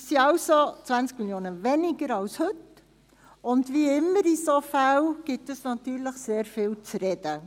Das sind also 20 Mio. Franken weniger als heute, und dies gibt – wie immer in solchen Fällen – natürlich sehr viel zu reden.